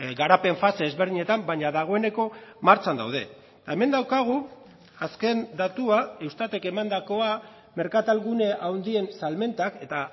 garapen fase ezberdinetan baina dagoeneko martxan daude hemen daukagu azken datua eustatek emandakoa merkatal gune handien salmentak eta